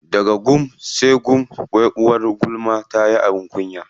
Daga gum sai gum, wai uwar gulma tayi abin kunya.